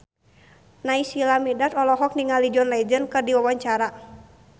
Naysila Mirdad olohok ningali John Legend keur diwawancara